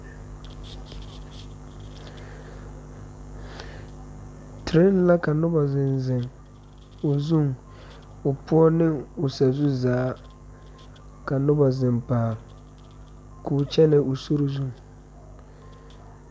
Train la ka noba zeŋ zeŋ o zuŋ o poɔ ne o sazu zaa ka.noba zeŋ paale k'o kyɛnɛ o sori zu.